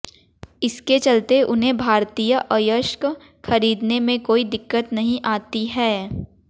इसके चलते उन्हें भारतीय अयस्क खरीदने में कोई दिक्कत नहीं आती है